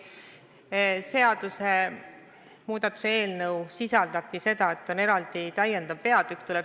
Ma lugesingi teile ette, et seadust muudetakse eelnõu kohaselt nii, et on eraldi täiendav peatükk.